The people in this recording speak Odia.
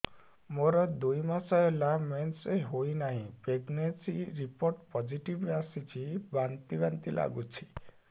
ମୋର ଦୁଇ ମାସ ହେଲା ମେନ୍ସେସ ହୋଇନାହିଁ ପ୍ରେଗନେନସି ରିପୋର୍ଟ ପୋସିଟିଭ ଆସିଛି ବାନ୍ତି ବାନ୍ତି ଲଗୁଛି